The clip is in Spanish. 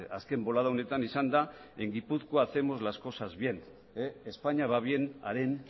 azken bolada honetan izan da en gipuzkoa hacemos las cosas bien españa va bien haren